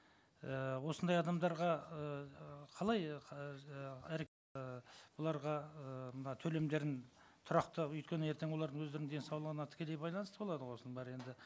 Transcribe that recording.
ііі осындай адамдарға ыыы қалай ыыы бұларға ыыы мына төлемдерін тұрақты өйткені ертең олардың өздерінің денсаулығына тікелей байланысты болады ғой осының бәрі енді